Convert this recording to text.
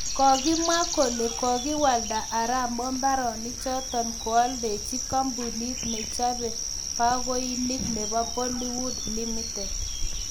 Kokimwa kole kokoikwalda Arap moi mbaronik chotok koaldachi kampunit nechapei bakoinik nebo Plywood Limited